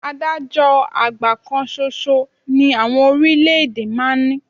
Adájọ́ àgbà kan ṣoṣo ni àwọn orílẹ̀-èdè máa ń ní